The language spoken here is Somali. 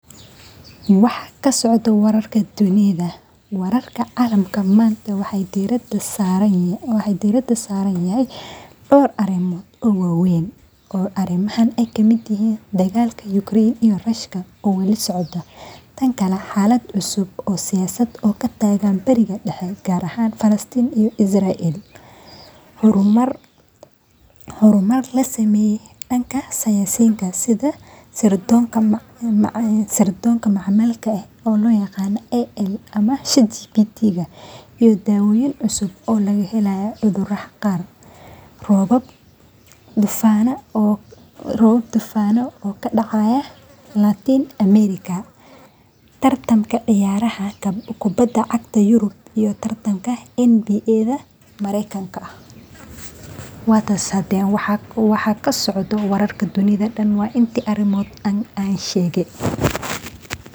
waxa ka socdo wararka dunida